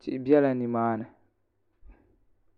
tihi biɛla nimaani